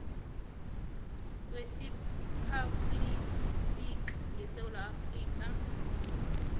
weriphabhuliki yesewula afrika